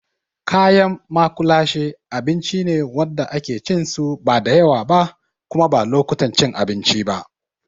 Kayan maƙulashe abinci ne wanda ake cin su ba da yawa ba kuma ba lokutan cin abinci ba.